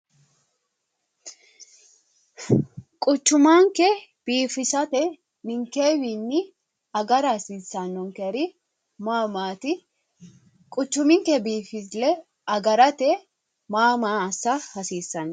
Quchumanke biifisate ninkewiinni agara hasiissanonkeri ma maati? Quchuminke biinfille agarate ma maa assa hasiissanno?